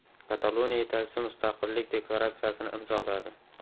Kataloniya yetakchisi mustaqillik deklaratsiyasini imzoladi.